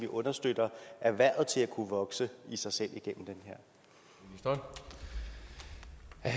understøtter erhvervet til at kunne vokse i sig selv igennem det her